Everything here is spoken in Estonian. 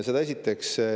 Seda esiteks.